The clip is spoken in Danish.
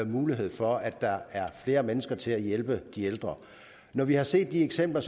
mulighed for at der er flere mennesker til at hjælpe de ældre når vi har set de eksempler